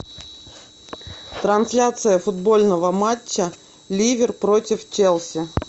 трансляция футбольного матча ливер против челси